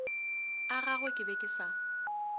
agagwe ke be ke sa